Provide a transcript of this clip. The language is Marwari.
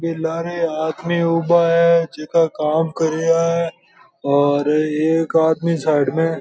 बीरे लारे आदमी उबा है जीका काम कर रिया है और एक आदमी साइड में --